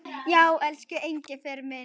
Já, elsku Engifer minn.